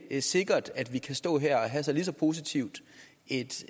ikke sikkert at vi kan stå her og have lige så positivt et